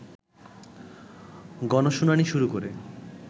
গণশুনানী শুরু করে